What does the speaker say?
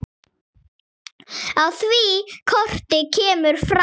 Á því korti kemur fram